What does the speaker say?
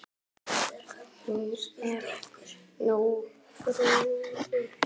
Hún er nú friðuð.